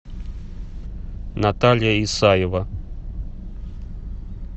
наталья исаева